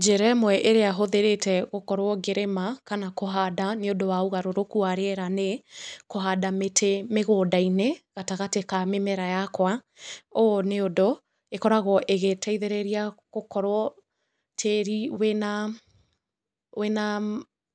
Njĩra ĩmwe ĩrĩa hũthĩrĩte gũkorwo ngĩrĩma kana kũhanda nĩ ũndũ wa ũgarũrũku wa rĩera nĩ kũhanda mĩtĩ mĩgũnda-inĩ gatagatĩ ka mĩmera yakwa. Ũũ nĩ ũndũ ĩkoragwo ĩgĩteithĩrĩria gũkorwo tĩri